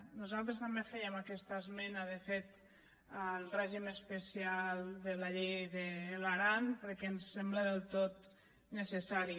nosaltres també fèiem aquesta esmena de fet al règim especial de la llei de l’aran perquè ens sembla del tot necessari